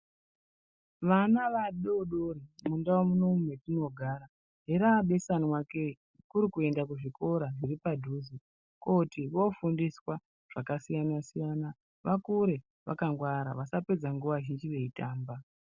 Vana vadodori mundau munomu metinogara herabeswana ke kuri kuenda kuzvikora zviri padhuze kooti vofundiswa zvakasiyana-siyana vakure vakangwara vasapedza nguwa zhinji veitamba.